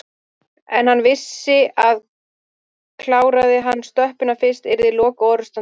En hann vissi að kláraði hann stöppuna fyrst yrði lokaorrustan töpuð.